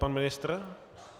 Pan ministr?